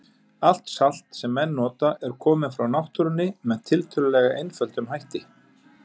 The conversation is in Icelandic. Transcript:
Allt salt sem menn nota er komið frá náttúrunni með tiltölulega einföldum hætti.